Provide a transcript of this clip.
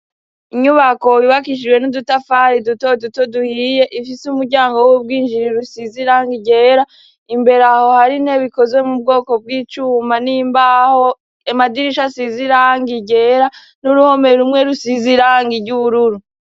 Inyubako yubakishijwe n'udutafari duto duto duhiye. Ifise umuryango w'ubwinjiro usize irangi ryera. Imbere aho har'intebe ikozwe mu bwoko bw'icuma n'imbaho. Amadirisha asize irangi ryera, n'uruhome rumwe rusize irangi ry'ubururu.